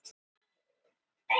Þar með er það upptalið.